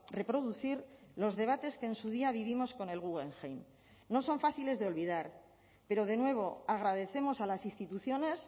reproducir los debates que en su día vivimos con el guggenheim no son fáciles de olvidar pero de nuevo agradecemos a las instituciones